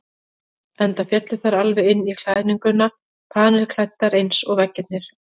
Enda féllu þær alveg inn í klæðninguna, panilklæddar eins og veggirnir.